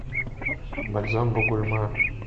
бальзам бугульма